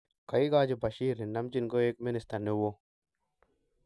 kaigachi Bashirr nenamjin koeg minista niwo